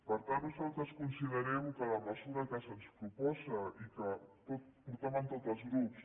per tant nosaltres considerem que la mesura que se’ns proposa i que portaven tots els grups